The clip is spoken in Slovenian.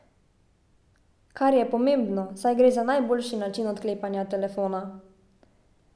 Kar je pomembno, saj gre za najboljši način odklepanja telefona.